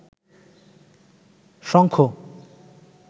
শঙ্খ